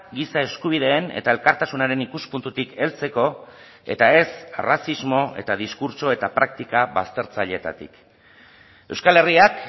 giza eskubideen eta elkartasunaren ikuspuntutik heltzeko eta ez arrazismo eta diskurtso eta praktika baztertzaileetatik euskal herriak